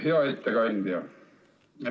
Hea ettekandja!